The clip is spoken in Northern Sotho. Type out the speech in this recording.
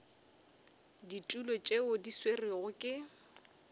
ditulo tšeo di swerwego ke